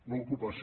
l’ocupació